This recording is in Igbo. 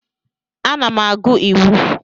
Ana m agụ Iwu.